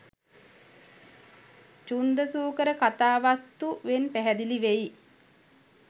චුන්දසුකර කථාවස්තු වෙන් පැහැදිලි වෙයි.